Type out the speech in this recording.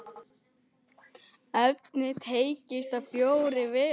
Efnið teygist á fjóra vegu.